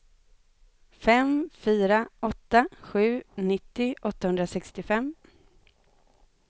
fem fyra åtta sju nittio åttahundrasextiofem